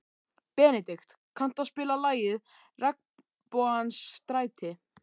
Benedikt, kanntu að spila lagið „Regnbogans stræti“?